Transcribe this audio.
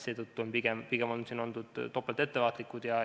Seetõttu on on siin oldud pigem topelt ettevaatlikud.